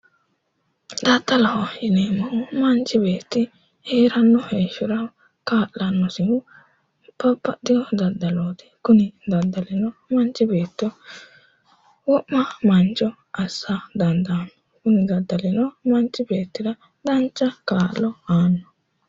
Daddaloho yineemohu manichi beetti heeranno heshora kaa'lanosihu babbaxewo daddalooti Kuni daddalino manichi beetto wo'ma manicho assa daniddaano kuni daddalibo manichi beetira danicha ka'lo aanno